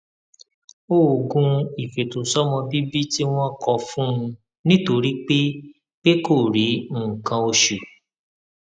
oògùn ìfètòsómọbíbí tí wón kọ fún un nítorí pé pé kò rí nǹkan oṣù